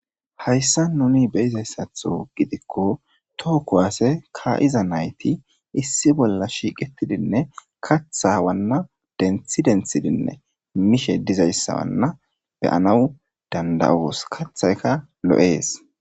Haysan nuni beyizaysatho gidiko to kuwase ka"iza nayti issi bolla shiiqetidinne katha wana denthi denthidinne mishe dizaysana beyanaw danda'os kathayka lo'es.